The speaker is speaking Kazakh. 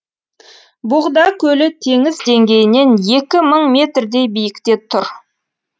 боғда көлі теңіз деңгейінен екі мың метрдей биікте тұр